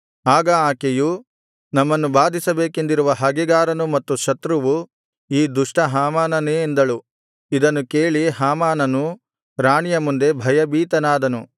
ಆಗ ಆಕೆಯು ನಮ್ಮನ್ನು ಬಾಧಿಸಬೇಕೆಂದಿರುವ ಹಗೆಗಾರನು ಮತ್ತು ಶತ್ರುವು ಈ ದುಷ್ಟ ಹಾಮಾನನೇ ಎಂದಳು ಇದನ್ನು ಕೇಳಿ ಹಾಮಾನನು ರಾಣಿಯ ಮುಂದೆ ಭಯಭೀತನಾದನು